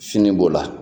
Fini b'o la